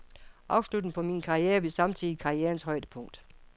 Afslutningen på min karriere blev samtidig karrierens højdepunkt.